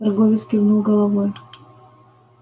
торговец кивнул головой